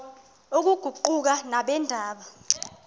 oku kuquka nabeendaba